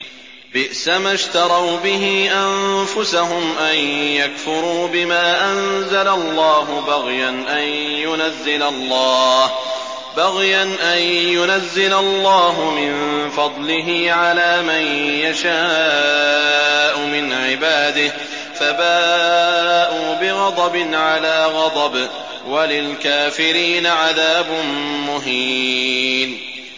بِئْسَمَا اشْتَرَوْا بِهِ أَنفُسَهُمْ أَن يَكْفُرُوا بِمَا أَنزَلَ اللَّهُ بَغْيًا أَن يُنَزِّلَ اللَّهُ مِن فَضْلِهِ عَلَىٰ مَن يَشَاءُ مِنْ عِبَادِهِ ۖ فَبَاءُوا بِغَضَبٍ عَلَىٰ غَضَبٍ ۚ وَلِلْكَافِرِينَ عَذَابٌ مُّهِينٌ